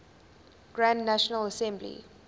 grand national assembly